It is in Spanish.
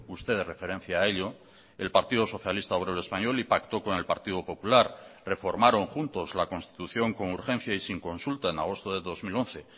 usted referencia a ello el partido socialista obrero español y pactó con el partido popular reformaron juntos la constitución con urgencia y sin consulta en agosto de dos mil once